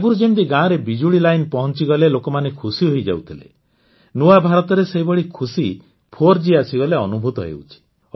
ଆଗରୁ ଯେମିତି ଗାଁରେ ବିଜୁଳି ଲାଇନ୍ ପହଂଚିଗଲେ ଲୋକମାନେ ଖୁସି ହୋଇଯାଉଥିଲେ ନୂଆ ଭାରତରେ ସେଇଭଳି ଖୁସି ୪ଜି ଆସିଗଲେ ଅନୁଭୂତ ହେଉଛି